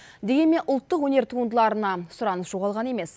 дегенмен ұлттық өнер туындыларына сұраныс жоғалған емес